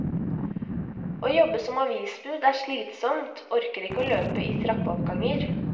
Å jobbe som avisbud er slitsomt, orker ikke å løpe i trappeoppganger.